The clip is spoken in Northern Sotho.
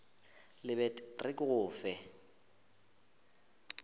lebet re ke go fe